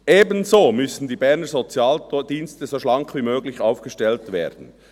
Ebenso müssen die Berner Sozialdienste so schlank wie möglich aufgestellt werden.